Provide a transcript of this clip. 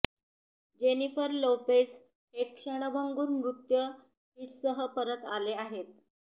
Jennifer Lopez हे क्षणभंगुर नृत्य हिट्ससह परत आले आहेत